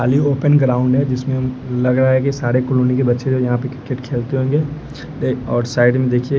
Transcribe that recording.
और यह open ground है जिसमें लग रहा है कि सारे कॉलोनी के बच्चे यहां पे क्रिकेट खेलते होंगे और साइड में देखिए।